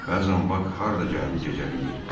Bəzən Bak harda gəldi gecələyir.